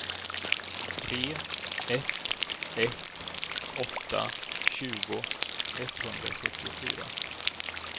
tre ett ett åtta tjugo etthundrasjuttiofyra